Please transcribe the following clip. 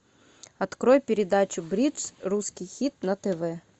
открой передачу бридж русский хит на тв